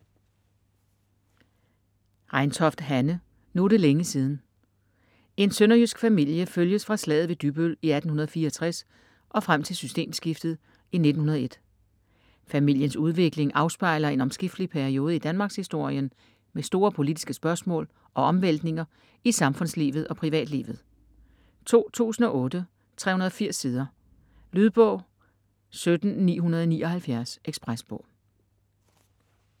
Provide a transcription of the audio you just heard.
Reintoft, Hanne: Nu er det længe siden En sønderjysk familie følges fra slaget ved Dybbøl i 1864 og frem til systemskiftet i 1901. Familiens udvikling afspejler en omskiftelig periode i Danmarkshistorien med store politiske spørgsmål og omvæltninger i samfundslivet og privatlivet. 2008, 380 sider. Lydbog 17979 Ekspresbog